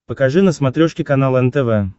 покажи на смотрешке канал нтв